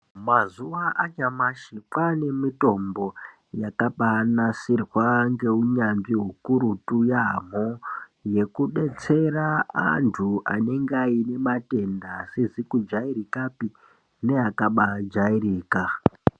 Mazuva anyamashi kwane mitombo yakabai nasirwa nge unyanzvi ukurutu yamho yeku detsera antu anenge aine matenda asizi kujairikapi ne akabai jairika.